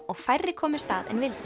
og færri komust að en vildu